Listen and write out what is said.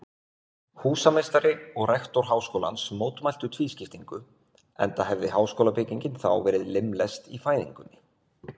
Húsameistari og rektor háskólans mótmæltu tvískiptingu, enda hefði háskólabyggingin þá verið limlest í fæðingunni.